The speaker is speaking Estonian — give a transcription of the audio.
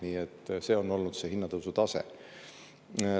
Nii et see on olnud see hinnatõusu tase.